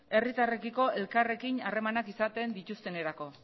herritarrekiko elkarrekin harremanak izaten dituztenerako